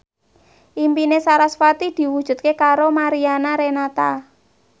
impine sarasvati diwujudke karo Mariana Renata